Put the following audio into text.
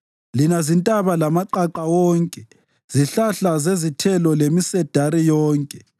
lina zintaba lamaqaqa wonke, zihlahla zezithelo lemisedari yonke,